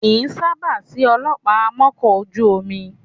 Kì í sábà sí ọlọ́pàá amọ́kọ̀ ojú omi